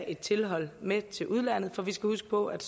et tilhold med til udlandet for vi skal huske på at